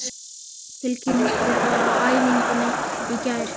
Tilkynnti það á æfingunni í gær.